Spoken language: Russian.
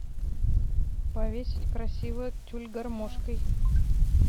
повесить красиво тюль гармошкой